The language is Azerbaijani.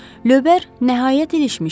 Lövbər nəhayət ilişmişdi.